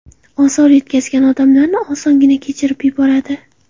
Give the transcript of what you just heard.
Ozor yetkazgan odamlarni osongina kechirib yuboradi.